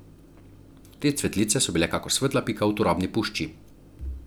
Te cvetlice so bile kakor svetla pika v turobni pušči.